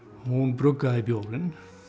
hún bruggaði bjórinn